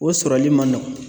O sɔrɔli ma nɔgɔn.